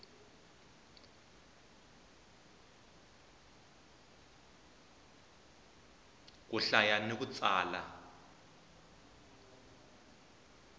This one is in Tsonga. ku hlaya ni ku tsala